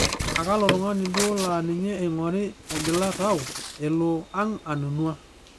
Aa kalo tung'ani duo laaa ninye eing'ori egila tau elo ang' anunua?